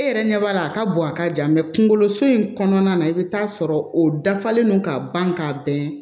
E yɛrɛ ɲɛ b'a la a ka bɔn a ka jan kunkolo so in kɔnɔna na i bɛ taa sɔrɔ o dafalen don ka ban ka bɛn